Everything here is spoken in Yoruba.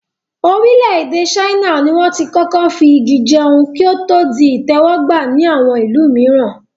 Orílẹ̀-èdè ṣáínà ni wọ́n tí kọ́kọ́ fi Igi jẹun, kí o to di ìtẹ́wọ́ gba ni àwọn ìlú mìíran.